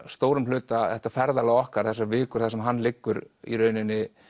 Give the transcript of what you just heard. stórum hluta þetta ferðalag okkar þessar vikur þar sem hann liggur í rauninni